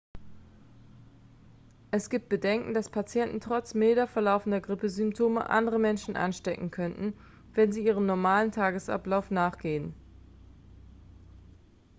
es gibt bedenken dass patienten trotz milder verlaufender grippesymptome andere menschen anstecken könnten wenn sie ihrem normalen tagesablauf nachgehen